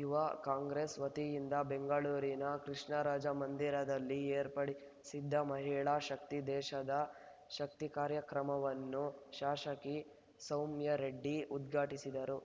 ಯುವ ಕಾಂಗ್ರೆಸ್‌ ವತಿಯಿಂದ ಬೆಂಗಳೂರಿನ ಕೃಷ್ಣರಾಜ ಮಂದಿರದಲ್ಲಿ ಏರ್ಪಡಿ ಸಿದ್ದ ಮಹಿಳಾ ಶಕ್ತಿ ದೇಶದ ಶಕ್ತಿ ಕಾರ್ಯಕ್ರಮವನ್ನು ಶಾಸಕಿ ಸೌಮ್ಯಾರೆಡ್ಡಿ ಉದ್ಘಾಟಿಸಿದರು